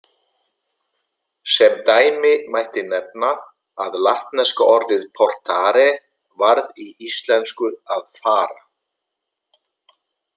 Sem dæmi mætti nefna að latneska orðið portare varð í íslensku að fara.